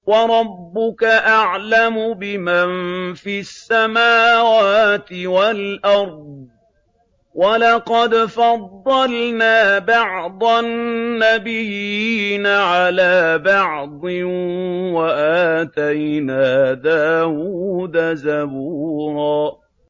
وَرَبُّكَ أَعْلَمُ بِمَن فِي السَّمَاوَاتِ وَالْأَرْضِ ۗ وَلَقَدْ فَضَّلْنَا بَعْضَ النَّبِيِّينَ عَلَىٰ بَعْضٍ ۖ وَآتَيْنَا دَاوُودَ زَبُورًا